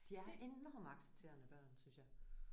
De er enormt accepterende børn synes jeg